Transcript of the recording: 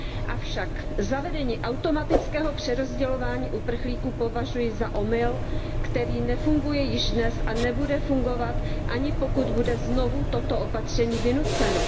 Avšak zavedení automatického přerozdělování uprchlíků považuji za omyl, který nefunguje již dnes a nebude fungovat, ani pokud bude znovu toto opatření vynuceno.